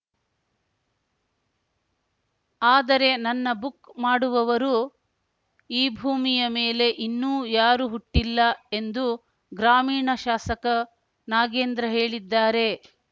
ಆದರೆ ನನ್ನ ಬುಕ್‌ ಮಾಡುವವರು ಈ ಭೂಮಿಯ ಮೇಲೆ ಇನ್ನೂ ಯಾರು ಹುಟ್ಟಿಲ್ಲ ಎಂದು ಗ್ರಾಮೀಣ ಶಾಸಕ ನಾಗೇಂದ್ರ ಹೇಳಿದ್ದಾರೆ